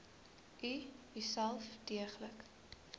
u uself deeglik